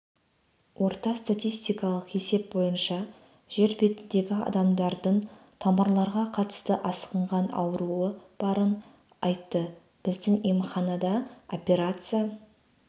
орта статистикалық есеп бойынша жер бетіндегі адамдардың тамырларға қатысты асқынған ауруы барын айтты біздің емханада операция